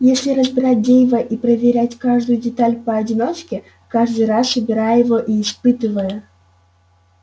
если разбирать дейва и проверять каждую деталь поодиночке каждый раз собирая его и испытывая